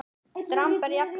Dramb er jafnan þessu næst.